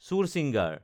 চুৰচিঙাৰ